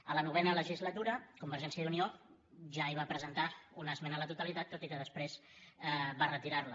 a la novena legislatura convergència i unió ja hi va presentar una esmena a la totalitat tot i que després va retirar la